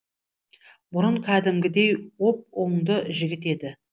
бұрын кәдімгідей оп оңды жігіт еді